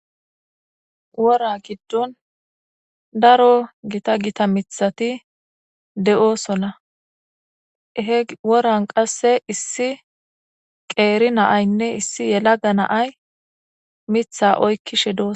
Wora giddon daro gita gita mithati de7oosona he woran qasse issi qeeri naaynne issi yelaga naay mitha oykkishe doos.